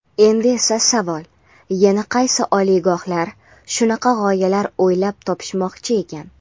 Endi esa savol: Yana qaysi oliygohlar shunaqa g‘oyalar o‘ylab topishmoqchi ekan?.